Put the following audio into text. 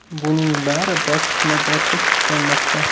Buning bari bosqichma-bosqich tiklanmoqda.